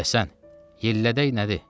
Məşədi Həsən, yellədək nədir?